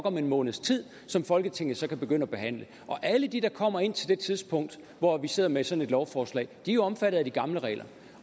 om en måneds tid som folketinget så kan begynde at behandle og alle de der kommer indtil det tidspunkt hvor vi sidder med sådan et lovforslag er jo omfattet af de gamle regler